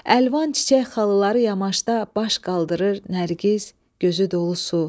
Əlvan çiçək xalıları yamaşda baş qaldırır nərgiz, gözü dolu su.